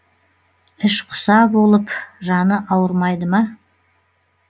іш құса болып жаны ауырмайды ма